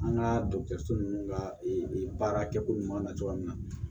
An ka dɔgɔtɔrɔso nunnu ka baara kɛko ɲuman na cogoya min na